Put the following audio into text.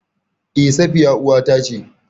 E Safiya uwata ce.